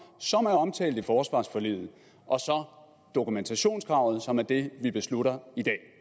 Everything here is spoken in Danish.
som er omtalt i forsvarsforliget og dokumentationskravet som er det vi beslutter